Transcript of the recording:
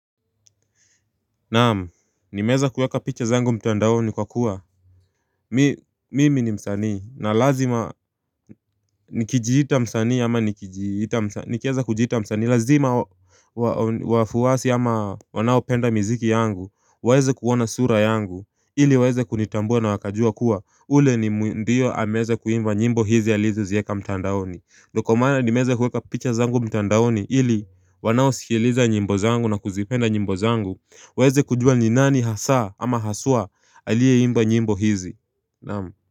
Naam nimeweza kuweka picha zangu mtandaoni kwa kuwa Mimi ni msanii na lazima nikijijita msani ama nikijijita msanii nikeza kujiita msani lazima wafuasi ama wanao penda miziki yangu waezevkuwona sura yangu ili waeza kunitambua na wakajua kuwa ule ni mndiyo hameza kuimba nyimbo hizi ya lizu zieka mtandaoni Ndoko mana ni meza kuweka picha zangu mtandaoni hili wanao sikiliza njimbo zangu na kuzipenda njimbo zangu weze kujua ni nani hasa ama hasua aliyeimba nymbo hizi Naam.